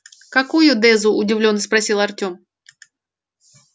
какую дезу удивлённо спросил артём